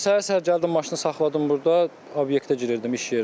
Elə səhər-səhər gəldim maşını saxladım burda, obyektə girirdim iş yerinə.